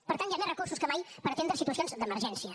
per tant hi ha més recursos que mai per atendre situacions d’emergència